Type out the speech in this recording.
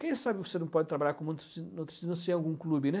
Quem sabe você não pode trabalhar com muitos em algum clube, né?